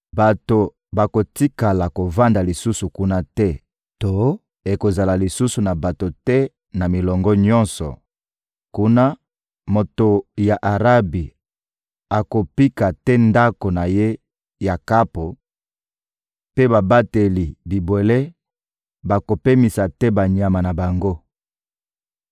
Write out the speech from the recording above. Bato bakotikala kovanda lisusu kuna te to ekozala lisusu na bato te na milongo nyonso; kuna, moto ya Arabi akopika te ndako na ye ya kapo, mpe babateli bibwele bakopemisa te banyama na bango.